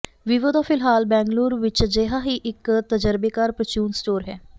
Vivo ਦਾ ਫਿਲਹਾਲ ਬੈਂਗਲੁਰੂ ਵਿੱਚ ਅਜਿਹਾ ਹੀ ਇੱਕ ਤਜ਼ਰਬੇਕਾਰ ਪ੍ਰਚੂਨ ਸਟੋਰ ਹੈ